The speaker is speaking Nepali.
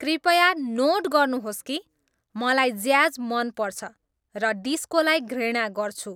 कृपया नोट गर्नुहोस् कि मलाई ज्याज मन पर्छ र डिस्कोलाई घृणा गर्छु